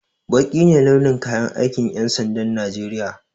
Baƙi ne launin kayan aikin ƴan sandan najeriya